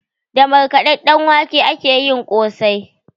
Da markaɗaɗɗen wake akeyin kosai